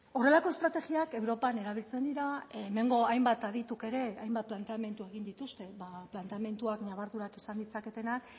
horrelako estrategiak europan erabiltzen dira hemengo hainbat adituk ere hainbat planteamendu egin dituzte planteamenduak ñabardurak izan ditzaketenak